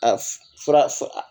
A fura